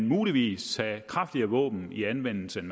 muligvis tage kraftigere våben i anvendelse end